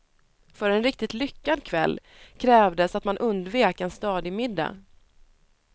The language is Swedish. För en riktigt lyckad kväll krävdes att man undvek en stadig middag.